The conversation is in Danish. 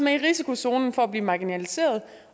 er i risikozonen for at blive marginaliserede